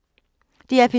DR P3